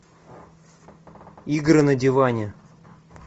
игры на диване